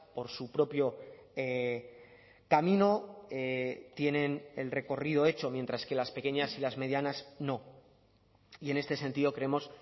por su propio camino tienen el recorrido hecho mientras que las pequeñas y las medianas no y en este sentido creemos